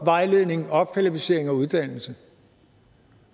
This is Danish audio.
vejledning opkvalificering og uddannelse